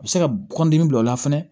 A bɛ se ka kɔndimi bila o la fɛnɛ